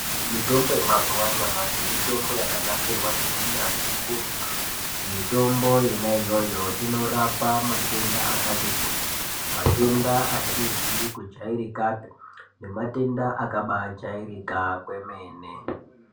Mitombo yemazuva anyamashi mitombo yakagadzirwa neunyatsvi ukurutu mitombo yona iyoyo inorapa matenda akati kuti matenda asizi kujairikapi ngematenda akabaijairika kwemene.